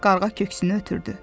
Qarğa köksünü ötürdü.